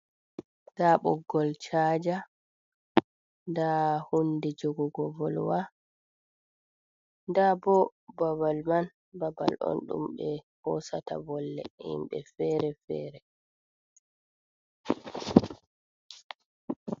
Ɗa boggol shaja. Ɗa hunɗe jogugo volwa. Ɗa bo babal man babal on ɗum be hosata volle himbe fere-fere.